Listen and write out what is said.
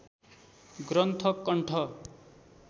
ग्रन्थ कण्ठ